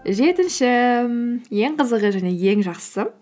жетінші ең қызығы және ең жақсысы